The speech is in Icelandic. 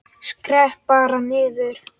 Skrepp bara niður.